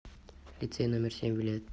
лицей номер семь билет